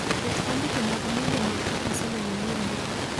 Ket andike mag miende mag kabasele manyien mogik